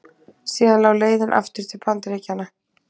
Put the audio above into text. Síðan lá leiðin aftur til Bandaríkjanna.